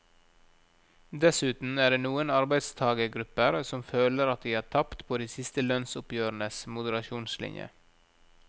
Dessuten er det noen arbeidstagergrupper som føler at de har tapt på de siste lønnsoppgjørenes moderasjonslinje.